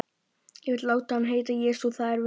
Ég vil láta hann heita Jesú. það er við hæfi.